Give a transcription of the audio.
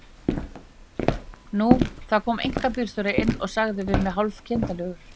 Nú, það kom einkabílstjóri inn og sagði við mig hálf kindarlegur